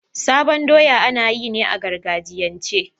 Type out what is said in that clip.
sabon doya anayi ne a gargajiyance